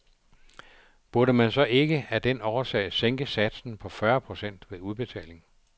Burde man så ikke af den årsag sænke satsen på fyrre procent ved udbetaling?